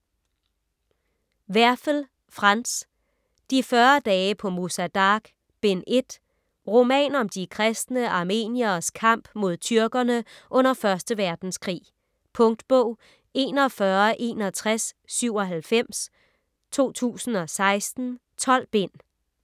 Werfel, Franz: De 40 dage på Musa Dagh: Bind 1 Roman om de kristne armenieres kamp mod tyrkerne under 1. verdenskrig. . Punktbog 416197 2016. 12 bind.